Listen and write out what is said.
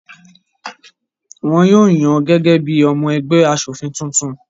Wọn yóò yàn án gẹ́gẹ́ bí i ọmọ ẹgbẹ́ aṣòfin tuntun.